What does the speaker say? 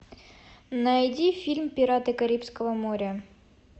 найди фильм пираты карибского моря